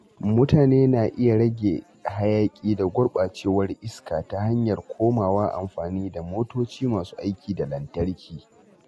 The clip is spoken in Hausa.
Mutane na iya rage hayaƙi da gurɓacewar iska ta hanyar komawa amfani da motoci masu aikin da lantarki.